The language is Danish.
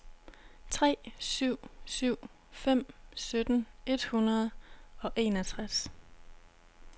tre syv syv fem sytten et hundrede og enogtres